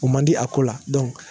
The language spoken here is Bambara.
O man di a ko la .